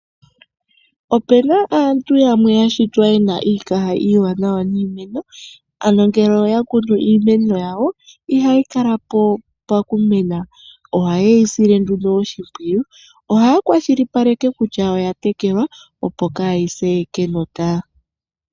Opu na aantu yamwe ya shitwa ye na iikaha iiwanawa niimeno, ano ngele oya kunu iimeno yawo ihayi kala po okumena. Ohaye yi sile nduno oshimpwiyu. Ohaya kwashilipaleke kutya oya tekelwa, opo kaayi se kenota.